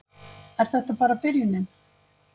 Er þetta bara byrjunin